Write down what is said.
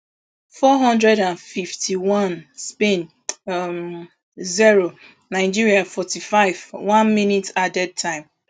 four hundred and fifty-onespain um zero nigeria forty-five one minute added time